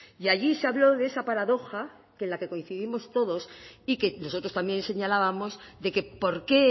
y allí se habló de esa paradoja en la que coincidimos todos y que nosotros también señalábamos de que por qué